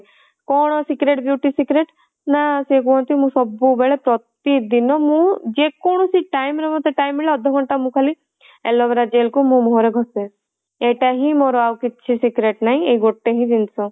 କଣ secret beauty secret ନା ସିଏ କୁହନ୍ତି ମୁଁ ସବୁବେଳେ ପ୍ରତିଦିନ ମୁଁ ଯେକୌଣସି time ରେ ମତେ time ମିଳେ ଅଧ ଘଣ୍ଟା ମୁଁ ଖାଲି aloe vera gel କୁ ମୋ ମୁହଁ ରେ ଘଷେ ଏଇଟା ହିଁ ମୋର ଆଉ କିଛି secret ନାହିଁ ଏଇ ଗୋଟେ ହିଁ ଜିନିଷ